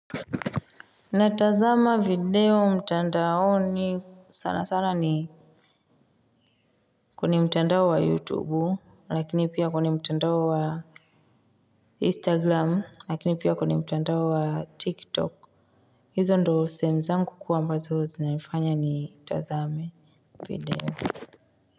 Natazama video mtandaoni sana sana ni kwenye mtandao wa youtube lakini pia kwenye mtandao wa instagram lakini pia kwenye mtandao wa tiktok hizo ndoo sehemu zangu kuu ambazo zinanifanya nitazame video.